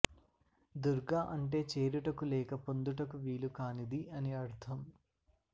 దుర్గ అంటే చేరుటకు లేక పొందుటకు వీలు కానిది అని అర్థం